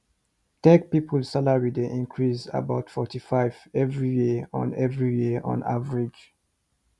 tech people salary dey increase about 45 every year on every year on average